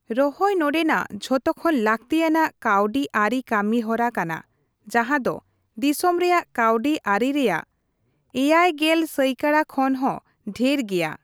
ᱨᱚᱦᱚᱭ ᱱᱚᱰᱮᱱᱟᱜ ᱡᱷᱚᱛᱚᱠᱷᱚᱱ ᱞᱟᱠᱛᱤᱟᱱᱟᱜ ᱠᱟᱹᱣᱰᱤ ᱟᱹᱨᱤ ᱠᱟᱹᱢᱤ ᱦᱚᱨᱟ ᱠᱟᱱᱟ ᱡᱟᱦᱟᱸ ᱫᱚ ᱫᱤᱥᱚᱢ ᱨᱮᱭᱟᱜ ᱠᱟᱹᱣᱰᱤ ᱟᱹᱨᱤ ᱨᱮᱭᱟᱜ ᱗᱐ ᱥᱟᱭᱠᱟᱲᱟ ᱠᱷᱚᱱ ᱦᱚᱸ ᱰᱷᱤᱨ ᱜᱮᱭᱟ ᱾